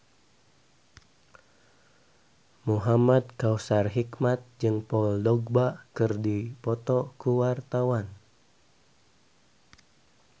Muhamad Kautsar Hikmat jeung Paul Dogba keur dipoto ku wartawan